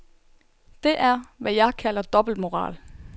Det er, hvad jeg kalder dobbeltmoral.